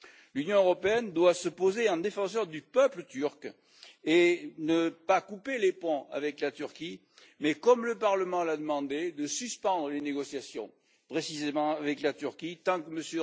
L'Union européenne doit se poser en défenseur du peuple turc et ne doit pas couper les ponts avec la Turquie mais, comme le Parlement l'a demandé, suspendre les négociations, précisément, avec la Turquie tant que M.